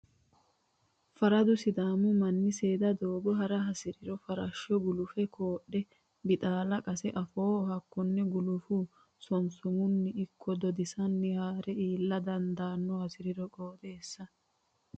Faradu sidaamu manni seeda doogo ha'ra hasiriro farasho gulufiha kodhe bixala qase afooho hakkone gulufe sosomunni ikki dodisanni hara iilla dandaano hasirino qooxxeessa.